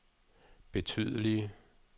betydelige